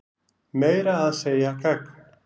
Meira að segja gagn.